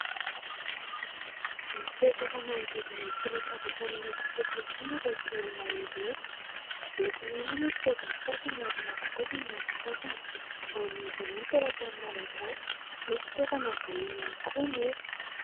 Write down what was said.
Mipetraka manodidina ity latabatra mIloko fotsy ity ireto olona ireto. Miloko mena moa ny sezan'ny sasany ary manga kosa ny an'ny sasany. Ao amin'izy ireo ny teratany malagasy, misy tokana vahiny ihany koa anefa.